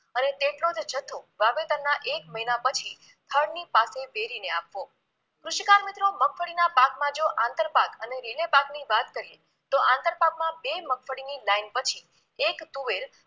અને તેટલો જ જથ્થો વાવેતરના એક મહિના પછી થડની પાસે વેરીને આપવો કૃૃૃૃૃૃૃષિકાર મિત્રો મગફળીના પાકમાં જો આંતરપાક અને રીલે પાકની વાત કરીએ તો આંતરપાકમાં બે મગફળીની line પછી એક તુવેર